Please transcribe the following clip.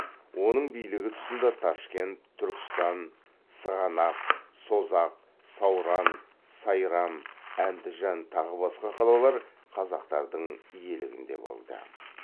оның билігі тұсында ташкент түркістан сығанақ созақ сауран сайрам әндіжан тағы басқа қалалар қазақтардың иелігінде болды